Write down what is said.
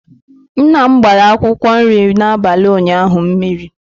Nnam gbara akwụkwọ nri n'abalị ụnyaahụ mmiri.